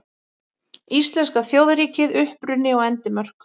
Íslenska þjóðríkið: Uppruni og endimörk.